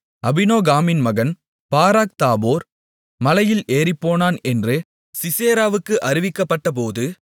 அபினோகாமின் மகன் Barak Tabor மலையில் ஏறிப்போனான் என்று சிசெராவுக்கு அறிவிக்கப்பட்டபோது